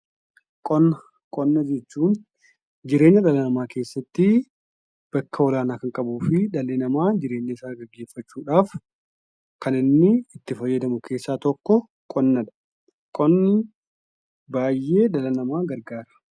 Qonna jechuun jireenya dhala namaa keessatti bakka oolaanaa kan qabuufi dhalli namaa jireenya isaa gaggeeffachuudhaaf kan inni itti fayyadamu keessaa tokko qonnadha. Qonni baay'ee dhala namaa gargaara.